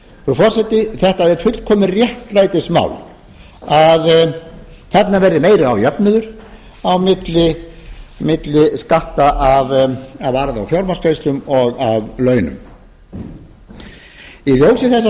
forseti þetta er fullkomið réttlætismál að þarna verði meiri jöfnuður á milli skatta af arði og fjármagnstekjum og af launum í ljósi þess að